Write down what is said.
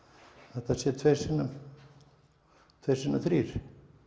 þetta sé tveir sinnum tveir sinnum þrír